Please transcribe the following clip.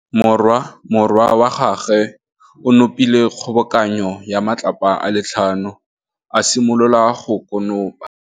Morwa wa gagwe o nopile kgobokanô ya matlapa a le tlhano, a simolola go konopa.